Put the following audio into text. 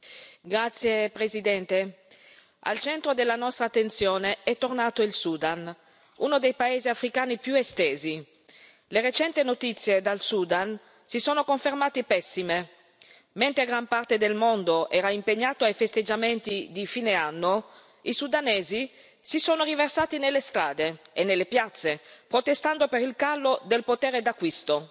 Signor Presidente, onorevoli colleghi, al centro della nostra attenzione è tornato il Sudan, uno dei paesi africani più estesi. Le recenti notizie dal Sudan si sono confermate pessime. Mentre gran parte del mondo era impegnato ai festeggiamenti di fine anno, i sudanesi si sono riversati nelle strade e nelle piazze, protestando per il calo del potere d'acquisto.